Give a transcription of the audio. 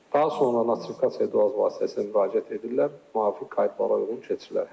Daha sonra notifikasiya baz vasitəsilə müraciət edirlər, müvafiq qaydalara uyğun keçirilər.